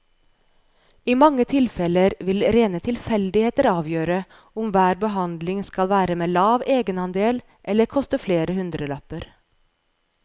I mange tilfeller vil rene tilfeldigheter avgjøre om hver behandling skal være med lav egenandel eller koste flere hundrelapper.